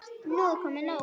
Nú er nóg komið.